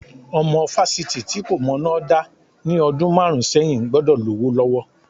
Ọmọ fásitì tí kò mọná dá ní ọdún márùn-ún sẹ́yìn gbọ́dọ̀ lówó lọ́wọ́.